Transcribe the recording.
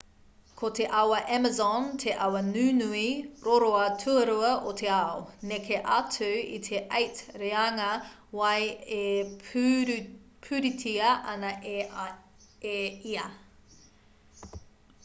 ko te awa amazon te awa nunui roroa tuarua o te ao neke atu i te 8 reanga wai e pūritia ana e ia